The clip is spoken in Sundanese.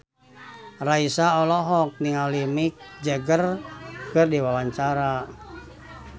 Raisa olohok ningali Mick Jagger keur diwawancara